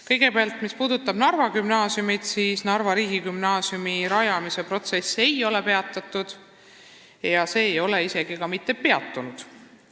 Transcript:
Kõigepealt, mis puudutab Narva gümnaasiumi, siis Narva riigigümnaasiumi rajamise protsess ei ole peatatud ja see ei ole isegi ka mitte peatunud.